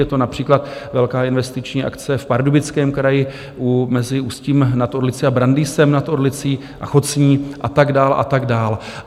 Je to například velká investiční akce v Pardubickém kraji mezi Ústím nad Orlicí a Brandýsem nad Orlicí a Chocní a tak dál, a tak dál.